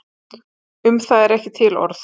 Um það eru ekki til orð.